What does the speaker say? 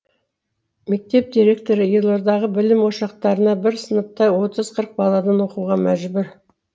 мектеп директоры елордадағы білім ошақтарында бір сыныпта отыз қырық баладан оқуға мәжбүр